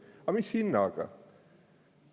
Aga mis hinnaga?